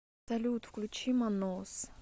салют включи манос